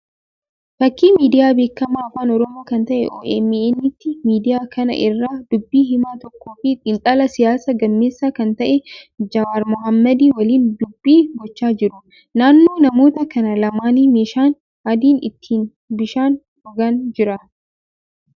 Fakkii miidiyaa beekamaa afaan Oromoo kan ta'e OMN ti. Miidiyaa kana irra dubbi himaa tokkoo fi xiinxalaa siyaasa gameessa kan ta'e Jawaar Mohaammadii waliin dubbii gochaa jiru. Naannoo namoota kana lamaanii meeshaan adiin itti bishaan dhugan jira.